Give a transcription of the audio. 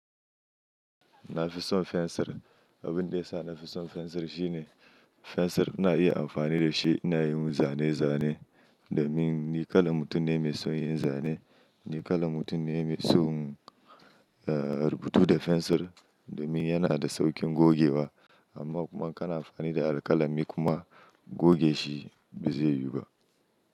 Na fi son fensir. Abin da ya sa na fi son fensir shine fensir na iya amfani da shi ina yin zane-zane, domin Ni kalan mutum ne mai son yin zane, ni kalan mutum ne mai son, eh, rubutu da fensir, domin yana da sauƙin gogewa amma kuma kana amfani da alƙalami kuma goge shi ba zai yiwu ba.